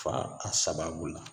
Fa a sababu la